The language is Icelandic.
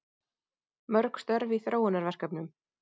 Mörg störf í þróunarverkefnum